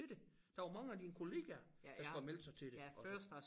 Til det der var mange af dine kollegaer der skulle have meldt sig til det også